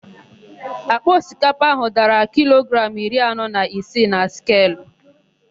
Àkpà osikapa áhụ̀ dara kilogramụ iri anọ na isii na skelu.